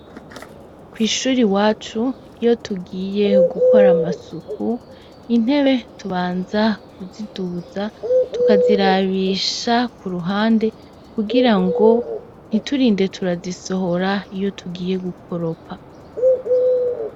Kw'ishure iwacu iyo tugiye gukora amasuku intebe tubanza kuziduza tukazirabisha Ku ruhande kugira ngo ntiturinde turazisohora iyo tugiye gukoropa.